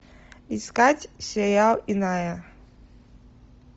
искать сериал иная